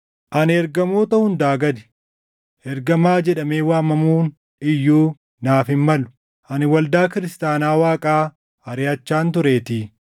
Ani ergamoota hundaa gadi; ergamaa jedhamee waamamuun iyyuu naaf hin malu; ani waldaa kiristaanaa Waaqaa ariʼachaan tureetii.